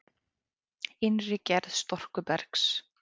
Innri gerð storkubergs